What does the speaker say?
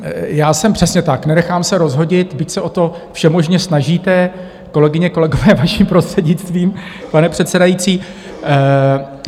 Já jsem, přesně tak, nenechám se rozhodit, byť se o to všemožně snažíte, kolegyně, kolegové, vaším prostřednictvím, pane předsedající.